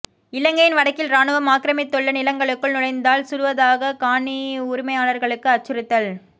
இலங்கையின் வடக்கில் இராணுவம் ஆக்கிரமித்துள்ள நிலங்களுக்குள் நுழைந்தால் சுடுவதாக காணி உரிமையாளர்களுக்கு அச்சுறுத்தல்